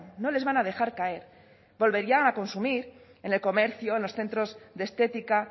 no les van a dejar caer volverían a consumir en el comercio los centros de estética